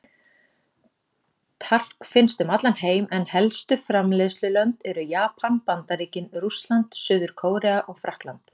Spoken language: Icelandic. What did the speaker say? Talk finnst um allan heim en helstu framleiðslulönd eru Japan, Bandaríkin, Rússland, Suður-Kórea og Frakkland.